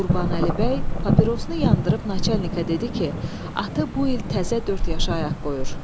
Qurbanəli bəy papirosunu yandırıb naçalnikə dedi ki, atı bu il təzə dörd yaşa ayaq qoyur.